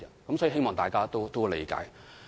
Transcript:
我希望大家理解。